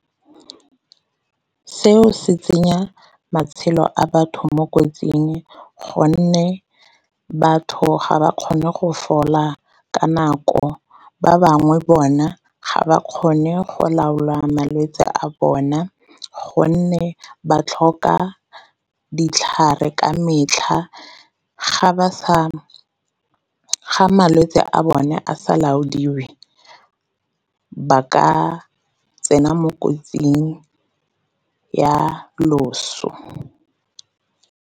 Seo se tsenya matshelo a batho mo kotsing gonne batho ga ba kgone go fola ka nako, ba bangwe bona ga ba kgone go laola malwetse a bona gonne ba tlhoka ditlhare ka metlha. Ga malwetse a bone a sa laodiwe ba ka tsena mo kotsing ya loso.